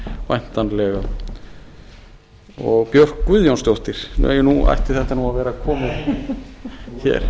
væntanlega og björk guðjónsdóttir nú ætti þetta að vera komið hér